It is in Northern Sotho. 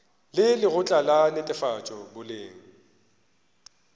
le lekgotla la netefatšo boleng